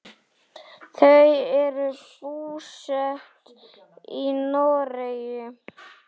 Þau eru búsett í Noregi.